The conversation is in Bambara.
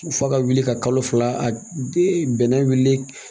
F'a ka wuli ka kalo fila bɛnɛ wulili